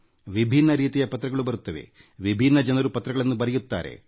ವಿಭಿನ್ನ ರೀತಿಯ ಪತ್ರಗಳು ಬರುತ್ತವೆ ವಿಭಿನ್ನ ಜನರು ಪತ್ರಗಳನ್ನು ಬರೆಯುತ್ತಾರೆ